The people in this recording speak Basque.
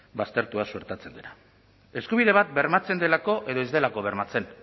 baztertuta suertatzen dena eskubide bat bermatzen delako edo ez delako bermatzen